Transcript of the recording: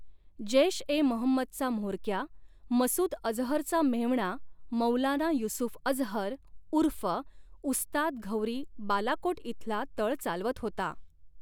जैश ए महंमदचा म्होरक्या मसूद अझहरचा मेव्हणा मौलाना युसुफ अझहर उर्फ उस्ताद घौरी बालाकोट इथला तळ चालवत होता.